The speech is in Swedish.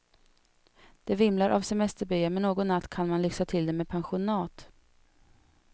Det vimlar av semesterbyar men någon natt kan man lyxa till det med pensionat.